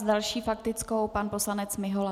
S další faktickou pan poslanec Mihola.